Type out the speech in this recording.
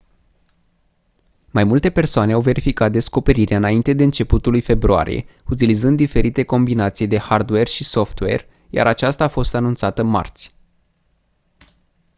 mai multe persoane au verificat descoperirea înainte de începutul lui februarie utilizând diferite combinații de hardware și software iar aceasta a fost anunțată marți